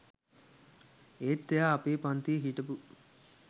ඒත් එයා අපේ පංතියෙ හිටපු